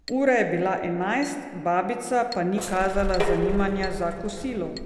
Ura je bila enajst, babica pa ni kazala zanimanja za kosilo.